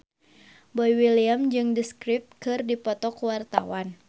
Boy William jeung The Script keur dipoto ku wartawan